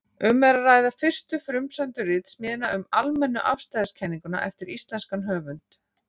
Um er að ræða fyrstu frumsömdu ritsmíðina um almennu afstæðiskenninguna eftir íslenskan höfund.